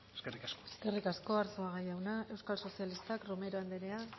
eskerrik asko eskerrik asko arzuaga jauna euskal sozialistak